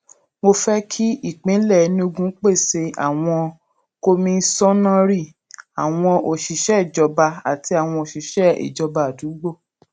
mo fẹ kí ìpínlẹ enugu pèsè àwọn kọmíṣọnnárì àwọn òṣìṣẹ ìjọba àti àwọn òṣìṣẹ ìjọba àdúgbò